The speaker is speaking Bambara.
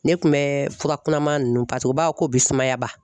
Ne kun bɛ fura kunnaman ninnu u b'a fɔ ko bɛ sumaya ban